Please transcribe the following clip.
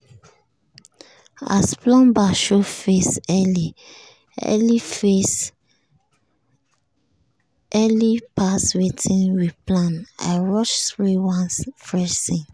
as plumber show face early face early pass wetin we plan i rush spray one fresh scent.